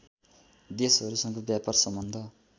देशहरूसँग व्यापार सम्बन्ध